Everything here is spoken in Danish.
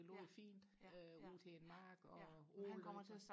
det lå fint øh ud til en mark og åen løber